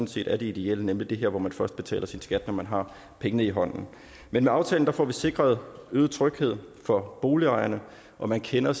set er det ideelle nemlig det her hvor man først betaler sin skat når man har pengene i hånden men med aftalen får vi sikret øget tryghed for boligejerne man kender